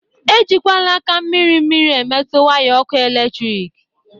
E jikwala aka mmiri mmiri emetu waya ọkụ eletrik!